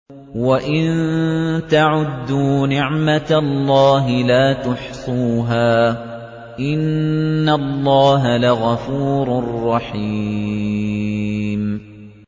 وَإِن تَعُدُّوا نِعْمَةَ اللَّهِ لَا تُحْصُوهَا ۗ إِنَّ اللَّهَ لَغَفُورٌ رَّحِيمٌ